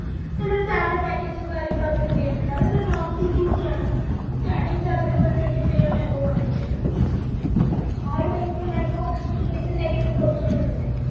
പിന്നെ salary package ഉം കാര്യങ്ങളും അവർക്ക് വരുന്നിണ്ട് അവരൊക്കെ ഇപ്പോരു nonCPC ആണ് starting salary പോലും twenty five and above വന്നിട്ടുണ്ട് ആ ഒര് placement ഇപ്പൊ കൊടുത്തോണ്ടിക്കുന്നെ